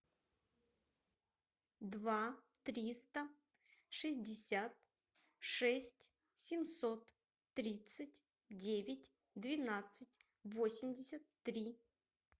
два триста шестьдесят шесть семьсот тридцать девять двенадцать восемьдесят три